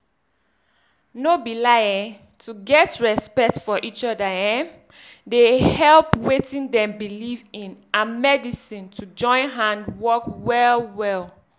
no be lie eh to get respect for eachoda erm dey help wetin dem believe in and medisin to join hand work well well.